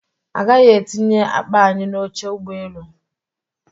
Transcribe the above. A gaghị etinye akpa anyị n'oche ụgbọ elu